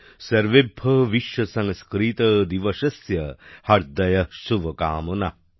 সর্বেভ্যঃ বিশ্বসংস্কৃতদিবসস্য হার্দয়ঃ শুভকামনাঃ